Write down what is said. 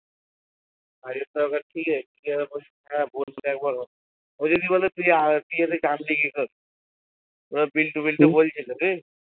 কাজের দরকার ঠিক আছে ও যদি বলে তুই নিজে থেকে ওরা বিল্টু বিল্টু বলছিলো